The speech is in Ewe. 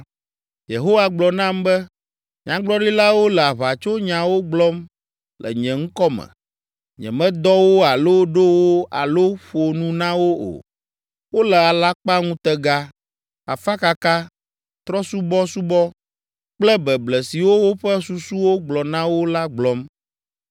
Yehowa gblɔ nam be, “Nyagblɔɖilawo le aʋatsonyawo gblɔm le nye ŋkɔ me. Nyemedɔ wo alo ɖo wo alo ƒo nu na wo o. Wole alakpaŋutega, afakaka, trɔ̃subɔsubɔ kple beble siwo woƒe susuwo gblɔ na wo la gblɔm.